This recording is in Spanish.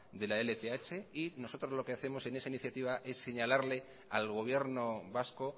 de la lth nosotros lo que hacemos en esa iniciativa es señalarle al gobierno vasco